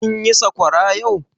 Kin yi sakwara yau?